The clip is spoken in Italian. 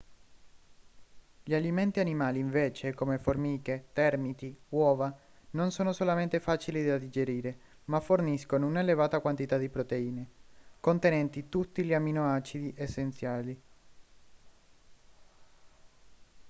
gli alimenti animali invece come formiche termiti uova non sono solamente facili da digerire ma forniscono un'elevata quantità di proteine contenenti tutti gli amminoacidi essenziali